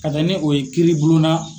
Ka taa ni o ye kiiri blon na.